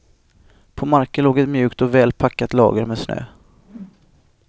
På marken låg ett mjukt och väl packat lager med snö.